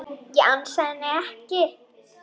Ég ansa henni ekki.